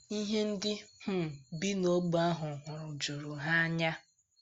Ihe ndị um bi n’ógbè ahụ hụrụ juru ha anya.